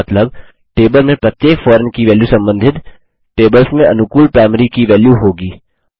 मतलब टेबल में प्रत्येक फॉरेन की वेल्यू सम्बन्धित टेबल्स में अनुकूल प्राइमरी की वेल्यू होगी